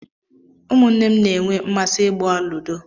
Ụmụ nne m na-enwe mmasị igbá ludó